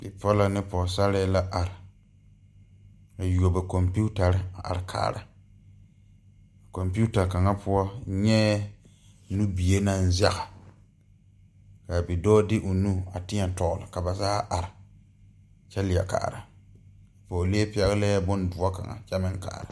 Bibiiri la zeŋ gbɛre kaŋ meŋ poɔ la ba poɔŋ o zeŋ la a gbɛrɛɛ sakere zu poɔ kyɛ ka taabol kpoŋ kaŋ biŋ ba niŋe ba deɛ deɛ boma tɔgele la a taabol zu ka paŋ zeŋ a